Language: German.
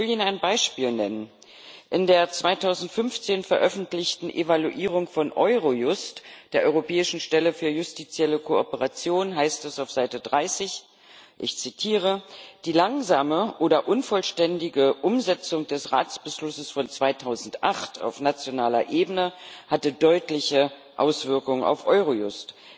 Ich will Ihnen ein Beispiel nennen In der 2015 veröffentlichten Evaluierung von Eurojust, der Europäischen Stelle für justizielle Zusammenarbeit, heißt es auf Seite 30, ich zitiere Die langsame oder unvollständige Umsetzung des Ratsbeschlusses von 2008 auf nationaler Ebene hatte deutliche Auswirkungen auf Eurojust.